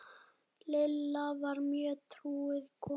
Lilla var mjög trúuð kona.